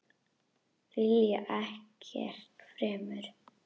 Vilja ekkert fremur.